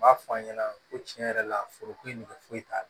N b'a fɔ a ɲɛna ko tiɲɛ yɛrɛ la foroko in nege foyi t'a la